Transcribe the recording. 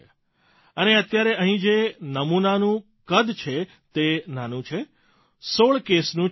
અને અત્યારે અહીં જે નમૂનાનું કદ છે તે નાનું ૧૬ કેસનું જ છે સર